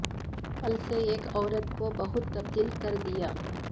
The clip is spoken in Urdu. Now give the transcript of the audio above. پل سے ایک عورت کو بہت تبدیل کر دیا